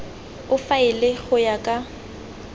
o faele go ya ka